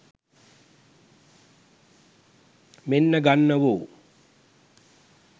මෙන්න ගන්නවො